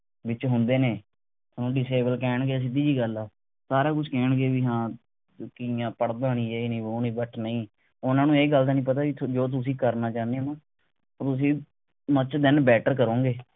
ਵਿਚ ਹੁੰਦੇ ਨੇ ਥੋਨੂੰ disable ਕਹਿਣਗੇ ਸਿਧਿ ਜੀ ਗੱਲ ਆ। ਸਾਰਾ ਕੁਛ ਕਹਿਣਗੇ ਵੀ ਹਾਂ ਤੂੰ ਕਿ ਹੈਂ ਪੜ੍ਹਦਾ ਨਹੀਂ ਯੇ ਨਹੀਂ ਵੋ ਨਹੀਂ but ਨਹੀਂ ਉਹਨਾਂ ਨੂੰ ਇਹ ਗੱਲ ਦਾ ਨਹੀਂ ਪਤਾ ਵੀ ਜੋ ਤੁਸੀਂ ਕਰਨਾ ਚਾਹੁੰਦੇ ਹੋ ਨਾ ਉਹ ਤੁਸੀਂ much then better ਕਰੋਗੇ